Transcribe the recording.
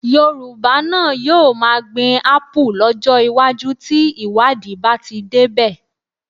Yorùbá náà yóò máa gbin Ápù lọ́jọ́ iwájú tí ìwádìí bá ti débẹ̀